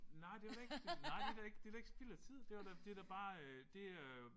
Nej det var da ikke det nej det da ikke det da ikke spild af tid det var da det da bare øh det øh